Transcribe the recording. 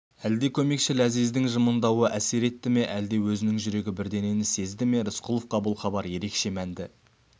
әлде көмекші ләзиздің жымыңдауы әсер етті ме әлде өзінің жүрегі бірдеңе сезді ме рысқұловқа бұл хабар ерекше мәнді